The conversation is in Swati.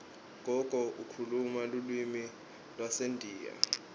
gogo ukhuluma lulwimi lwasendiya